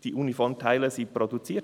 » Die Uniformteile wurden produziert.